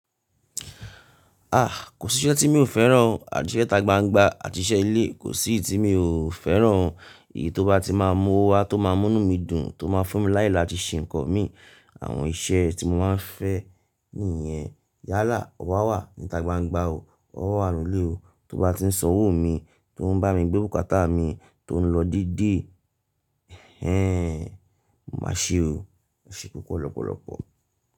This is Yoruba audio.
A! Kò síṣẹ́ tí mi ò fẹ́ràn o. Àti iṣẹ́ itagbangba àti iṣẹ́ ilé, kò sí i tí mi ò fẹ́ràn o. Èyí tó bá ti máa mú owó wá, tó máa mú'nú mí dùn, tó máa fún mi láyè láti ṣe ǹkan mi, àwọn iṣẹ́ tí mo máa ń fẹ́ nìyẹn. Yálà, o wà wa ní'tagbangba o, ọ wà n'nù ilé o. Tó bá ti ń san owó mi, tó ń bá mi gbé bùkátà mi, tó ń lọ dedé, ẹ́ n, mo máa ṣe o. Ẹ ṣe púpọ̀ lọ́pọ̀lọpọ̀.